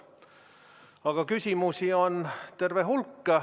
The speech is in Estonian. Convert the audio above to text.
Aga küsimusi on terve hulk.